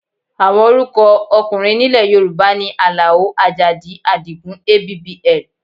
Àwọn orúkọ ọkùnrin nílẹ̀ Yorùbá ni Àlàó, Àjàdí, Àdìgún, abbl.